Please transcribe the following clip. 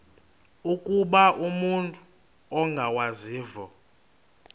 ukuba umut ongawazivo